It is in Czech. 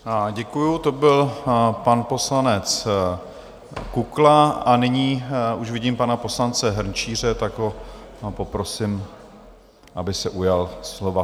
Děkuji, to byl pan poslanec Kukla, a nyní už vidím pana poslance Hrnčíře, tak ho poprosím, aby se ujal slova.